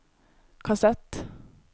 kassett